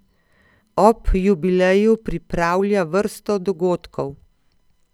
Ob jubileju pripravlja vrsto dogodkov.